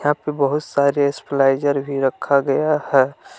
यहां पर बहुत सारे स्टेबलाइजर भी रखा गया हैं।